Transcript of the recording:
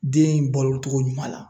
Den in balo togo ɲuman la